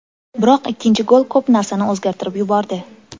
Biroq ikkinchi gol ko‘p narsani o‘zgartirib yubordi.